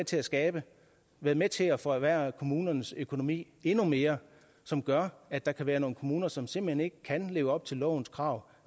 til at skabe været med til at forværre kommunernes økonomi endnu mere som gør at der kan være nogle kommuner som simpelt hen ikke kan leve op til lovens krav